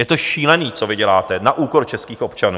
Je to šílený, co vy děláte - na úkor českých občanů.